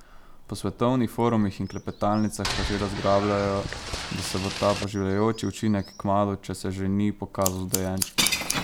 Po svetovnih forumih in klepetalnicah pa že razglabljajo, da se bo ta poživljajoči učinek kmalu, če se že ni, pokazal z dojenčki.